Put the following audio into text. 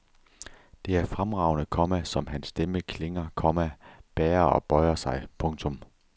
Det er fremragende, komma som hans stemme klinger, komma bærer og bøjer sig. punktum